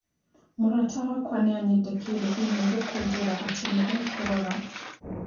Mũrata wakwa nĩanyandĩkĩire i-mīrū kũnjĩra atĩ nĩ e kũrora.